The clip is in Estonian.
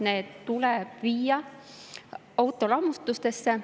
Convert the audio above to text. Need tuleb viia autolammutusse.